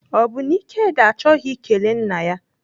Ọ bụ na Ikedi achọghị ikele nna ya?